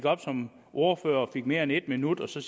op som ordfører og fik mere end en minut og så